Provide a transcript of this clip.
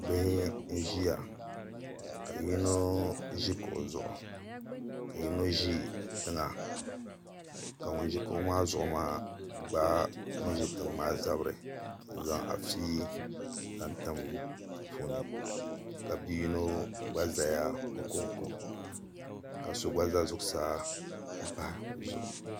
Bihi n ʒiya ka yino ʒi kuɣu zuɣu ka yino ʒi tiŋa ka ŋun ʒi kuɣu maa zuɣu maa gbaai ŋun ʒi tiŋ maa zabiri n zaŋ afi n zaŋ tim di puuni ka bia yino gba ʒɛya o konko ka so gba ʒɛ zuɣusaa n pahi bi zuɣu